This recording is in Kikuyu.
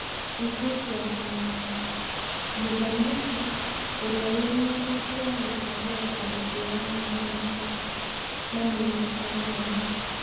Riboti ya kameme. Mũthamaki ũria wĩna ũhoti wa gũcagũra kamĩtĩ ya mamĩnĩcita na mĩnĩcita mũnene.